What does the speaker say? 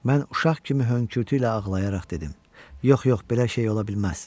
Mən uşaq kimi hönkürtü ilə ağlayaraq dedim: Yox, yox, belə şey ola bilməz.